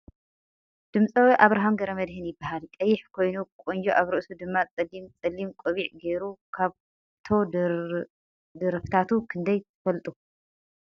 ድምፃዊ ኣብርሃም ገ/መድህን ይባሃል ። ቀይሕ ኮይኑ ቀንጆ ኣብ ርእሱ ድማ ፀሊም ፀሊም ቆቢዕ ገይሩ ።ካብቶ ድርፍታቱ ክንደይ ትፍልጡ ?